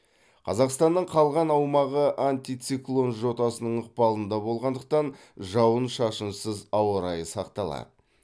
қазақстанның калған аумағы антициклон жотасының ықпалында болғандықтан жауын шашынсыз ауа райы сақталады